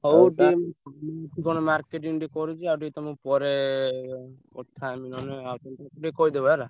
ହଉ କଣ marketing ଟିକେ କରୁଚି ଆଉ ଟିକେ ତମୁକୁ ପରେ କଥା ହେବି ନହେଲେ ଆଉ ଟିକେ କହିଦବ ହେଲା।